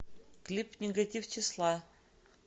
клип нигатив числа